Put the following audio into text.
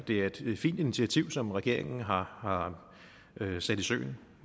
det er et fint initiativ som regeringen har har sat i søen